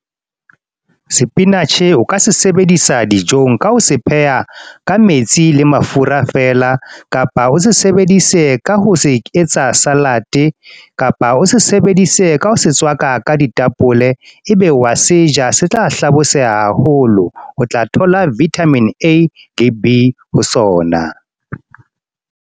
Spinach o ka se sebedisa dijong, ka ho se pheha ka metsi le mafura fela. Kapa, o se sebedise ka ho se etsa salad. Kapa o se sebedise ka ho se tswaka ka ditapole, ebe wa seja. Se tla hlabosehang haholo. O tla thola Vitamin A, le B ho sona.